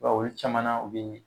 I b'a ye olu caman na o bee